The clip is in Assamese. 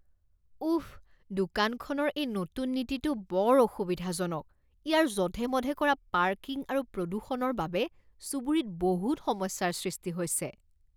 উফ! দোকানখনৰ এই নতুন নীতিটো বৰ অসুবিধাজনক। ইয়াৰ জধে মধে কৰা পাৰ্কিং আৰু প্ৰদূষণৰ বাবে চুবুৰীত বহুত সমস্যাৰ সৃষ্টি হৈছে।